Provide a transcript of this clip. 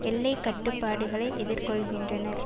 எல்லை கட்டுப்பாடுகளை எதிர்கொள்ளுகின்றனர்